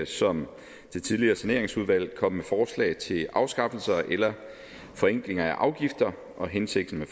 som det tidligere saneringsudvalg komme med forslag til afskaffelse eller forenkling af afgifter og hensigten